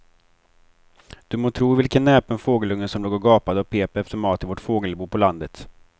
Du må tro vilken näpen fågelunge som låg och gapade och pep efter mat i vårt fågelbo på landet.